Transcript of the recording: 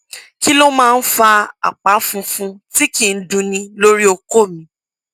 kí ló máa ń fa àpá funfun tí kì í dunni lórí okó mi